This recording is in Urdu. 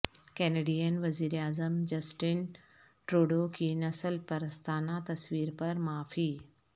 کینیڈین وزیراعظم جسٹن ٹروڈو کی نسل پرستانہ تصویر پر معافی